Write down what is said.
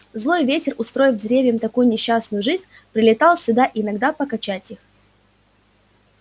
злой ветер устроив деревьям такую несчастную жизнь прилетал сюда иногда покачать их